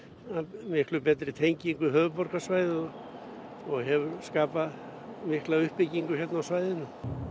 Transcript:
miklu betri tenging við höfuðborgarsvæðið og hefur skapað mikla uppbyggingu hérna á svæðinu